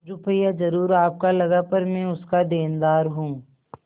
रुपया जरुर आपका लगा पर मैं उसका देनदार हूँ